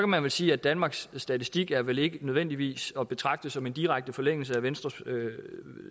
man sige at danmarks statistik vel ikke nødvendigvis at betragte som en direkte forlængelse af venstres